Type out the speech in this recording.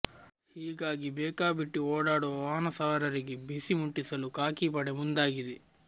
ಹೀಗಾಗಿ ಬೇಕಾಬಿಟ್ಟಿ ಓಡಾಡುವ ವಾಹನ ಸವಾರರಿಗೆ ಬಿಸಿ ಮುಟ್ಟಿಸಲು ಖಾಕಿ ಪಡೆ ಮುಂದಾಗಿದೆ